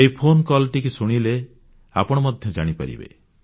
ଏହି phone call ଶୁଣିଲେ ଆପଣ ମଧ୍ୟ ଜାଣିପାରିବେ